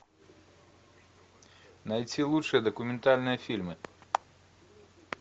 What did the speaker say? найти лучшие документальные фильмы